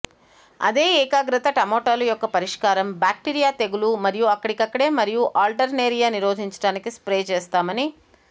అదే ఏకాగ్రత టమోటాలు యొక్క పరిష్కారం బ్యాక్టీరియా తెగులు మరియు అక్కడికక్కడే మరియు ఆల్టర్నేరియా నిరోధించడానికి స్ప్రే చేస్తామని